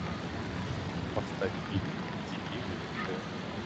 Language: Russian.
поставь фильм дикие выжившие